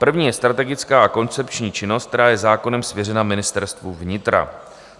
První je strategická a koncepční činnost, která je zákonem svěřena Ministerstvu vnitra.